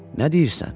Nə deyirsən?